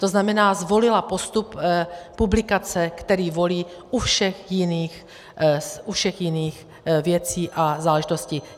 To znamená, zvolila postup publikace, který volí u všech jiných věcí a záležitostí.